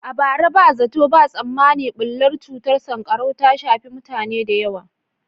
A bara, ba zato ba tsammani bullar cutar sankarau ta shafi mutane da yawa.